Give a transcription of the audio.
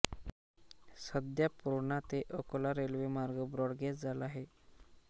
सध्या पुर्णा ते अकोला रेल्वेमार्ग ब्रॉडगेज झाला आहे